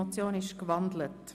Die Motion ist gewandelt.